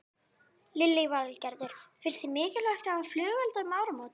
Lillý Valgerður: Finnst þér mikilvægt að hafa flugelda um áramótin?